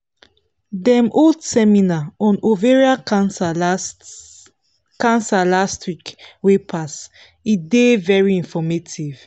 dem hold seminar on ovarian cancer last cancer last week wey pass e dey very informative